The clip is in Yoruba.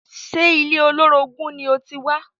Ṣe ilé olórogún ni o ti wá?